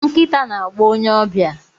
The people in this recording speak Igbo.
Nkita na-agbọ onye ọbịa.